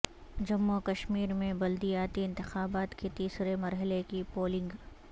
جموں وکشمیر میں بلدیاتی انتخابات کے تیسرے مرحلے کی پولنگ